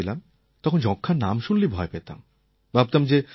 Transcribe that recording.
যখন আমি ছোটো ছিলাম তখন যক্ষ্মার নাম শুনলেই ভয় পেতাম